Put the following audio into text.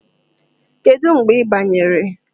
Kedu mgbe ị banyere?